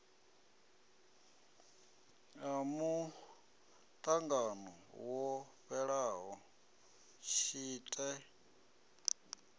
a muṱangano wo fhelaho tshite